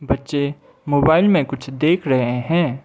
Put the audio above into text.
बच्चे मोबाइल में कुछ देख रहे हैं।